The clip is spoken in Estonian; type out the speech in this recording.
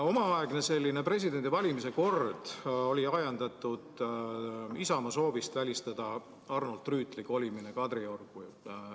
Omaaegne presidendi valimise kord oli ajendatud Isamaa soovist välistada Arnold Rüütli kolimine Kadriorgu.